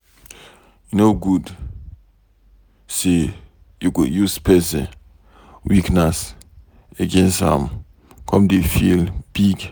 E no good say you go use pesin weakness against am come dey feel big.